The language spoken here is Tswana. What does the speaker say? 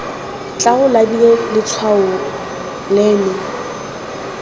tla o labile letshwao leno